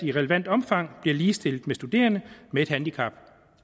i relevant omfang bliver ligestillet med studerende med et handicap